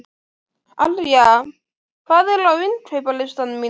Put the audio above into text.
Arja, hvað er á innkaupalistanum mínum?